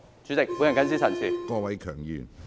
主席，我謹此陳辭。